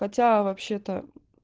хотя вообще-то